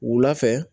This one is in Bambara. Wula fɛ